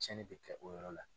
Cɛnni bɛ kɛ o yɔrɔ la.